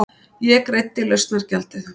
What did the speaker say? Ég greiddi lausnargjaldið.